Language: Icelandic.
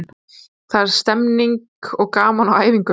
Það er stemning og gaman á æfingum.